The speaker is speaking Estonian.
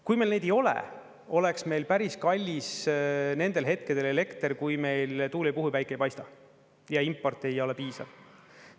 Kui meil neid ei ole, oleks meil päris kallis nendel hetkedel elekter, kui meil tuul ei puhu ja päike ei paista ja import ei ole piisav.